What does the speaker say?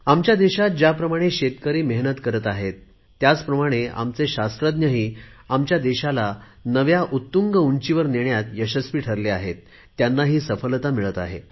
आमच्या देशात ज्याप्रमाणे शेतकरी मेहनत करत आहेत त्याचप्रमाणे आमचे शास्त्रज्ञही आमच्या देशाला नव्या उत्तुंग उंचीवर नेण्यात यशस्वी ठरले आहेत त्यांना सफलता मिळत आहे